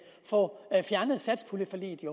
få fjernet satspuljeforliget